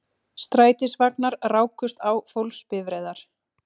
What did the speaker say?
Strætisvagnar rákust á fólksbifreiðar